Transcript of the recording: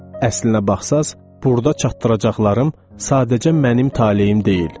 Əslinə baxsaq, burda çatdıracaqlarım sadəcə mənim taleyim deyil.